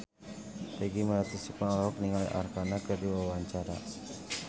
Peggy Melati Sukma olohok ningali Arkarna keur diwawancara